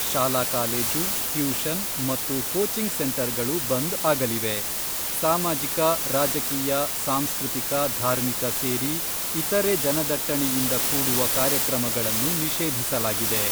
ಶಾಲಾ college, tuition ಮತ್ತು coaching ಸೆಂಟರ್ಗಳು ಬಂದ್ ಆಗಲಿವೆ. ಸಾಮಾಜಿಕ, ರಾಜಕೀಯ, ಸಾಂಸ್ಕೃತಿಕ, ಧಾರ್ಮಿಕ ಸೇರಿ ಇತರೆ ಜನದಟ್ಟಣೆಯಿಂದ ಕೂಡುವ ಕಾರ್ಯಕ್ರಮಗಳನ್ನು ನಿಷೇಧಿಸಲಾಗಿದೆ.